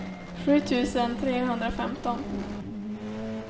sju tusen trehundrafemton